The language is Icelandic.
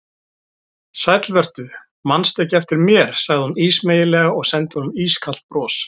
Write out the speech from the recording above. Sæll vertu, mannstu ekki eftir mér sagði hún ísmeygilega og sendi honum ískalt bros.